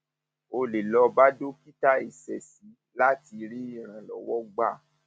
o lè lọ bá dókítà ìṣesí láti rí ìrànlọwọ gbà